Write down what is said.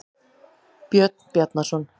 Björn Bjarnarson.